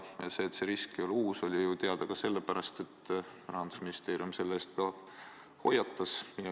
Ja see, et see risk ei ole uus, oli ju teada ka sellepärast, et Rahandusministeerium selle eest hoiatas.